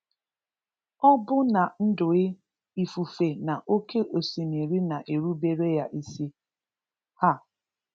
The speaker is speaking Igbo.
Ọbụnadụị ifufe na oké osimiri na-erubere Ya isi. um